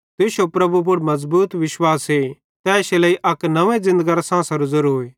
तुश्शो प्रभु पुड़ मज़बूत विश्वासे इश्शे लेइ अक नव्वें ज़िन्दगरे साँसेरो ज़ेरोए